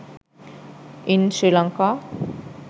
in sri lanka